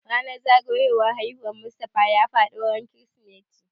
Ranan zagayowar haihuwar Mustafa ya faɗo ran kirismeti